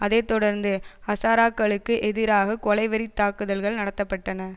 அதை தொடர்ந்து ஹசாராக்களுக்கு எதிராக கொலைவெறித் தாக்குதல்கள் நடாத்தப்பட்டன